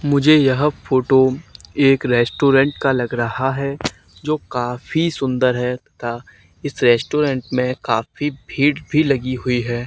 मुझे यह फोटो एक रेस्टोरेंट का लग रहा है जो काफी सुंदर है तथा इस रेस्टोरेंट में काफी भीड़ भी लगी हुई है।